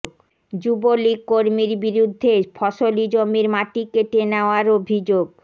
যুবলীগ কর্মীর বিরুদ্ধে ফসলি জমির মাটি কেটে নেওয়ার অভিযোগ